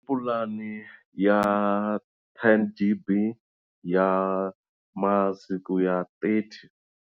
Pulani ya ten gb ya masiku ya thirty.